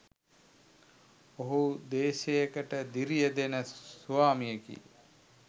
ඔහු දේශයකට දිරිය දෙන ස්වාමියෙකි.